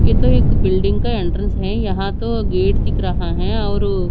ये तो एक बिल्डिंग का एंट्रेंस है यहां तो गेट दिख रहा है और--